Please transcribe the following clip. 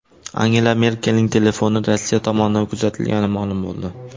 Angela Merkelning telefoni Rossiya tomonidan kuzatilgani ma’lum bo‘ldi.